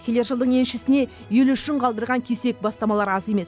келер жылдың еншісіне ел үшін қалдырған кесек бастамалар аз емес